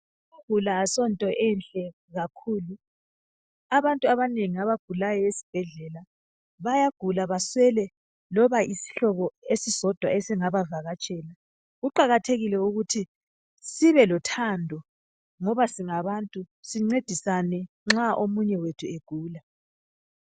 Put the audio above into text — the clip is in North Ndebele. Ukuguka asonto enhle kakhulu, abantu abanengi abagulayo esibhedlela bayagula baswele loba yisihlobo esisodwa esingabavakatshela. Kuqakathekile ukuthi sibelothando ngoba singabantu, sincedisane nxa omunye wethu egula.